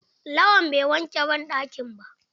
Lawan bai wanke banɗakin ba.